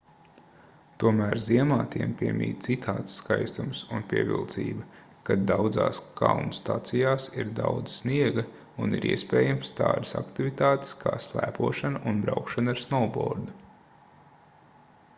tomēr ziemā tiem piemīt citāds skaistums un pievilcība kad daudzās kalnu stacijās ir daudz sniega un ir iespējamas tādas aktivitātes kā slēpošana un braukšana ar snovbordu